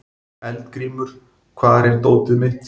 Eldgrímur, hvar er dótið mitt?